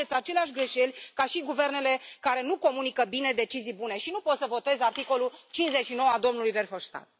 Faceți aceleași greșeli ca și guvernele care nu comunică bine decizii bune și nu pot să votez articolul 59 al domnului Verhofstadt